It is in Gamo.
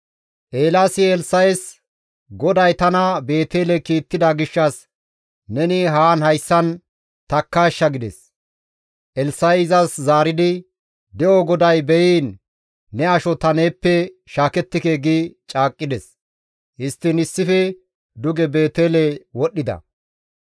Eelaasi Elssa7es, «GODAY tana Beetele kiittida gishshas neni haan hayssan takkaashsha» gides. Elssa7i izas zaaridi, «De7o GODAY beyiin ne asho ta neeppe shaakettike» gi caaqqides; histtiin issife duge Beetele wodhdhida.